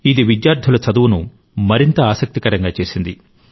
ఇది విద్యార్థులకు చదువును మరింత ఆసక్తికరంగా చేసింది